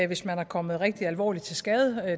hvis man er kommet rigtig alvorligt til skade